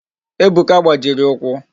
Ebuka gbajiri ụkwụ